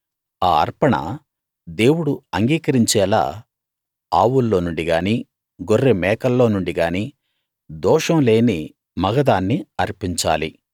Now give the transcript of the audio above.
ఆ అర్పణ దేవుడు అంగీకరించేలా ఆవుల్లో నుండి గానీ గొర్రె మేకల్లో నుండి గానీ దోషంలేని మగదాన్ని అర్పించాలి